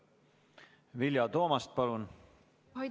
Vilja Toomast, palun!